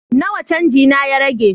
Nawa canji na ya rage?